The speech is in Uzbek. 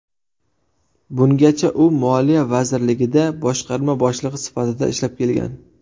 Bungacha u Moliya vazirligida boshqarma boshlig‘i sifatida ishlab kelgan.